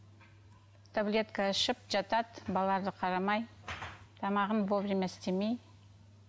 таблетка ішіп жатады балаларға қарамай тамағын во время істемей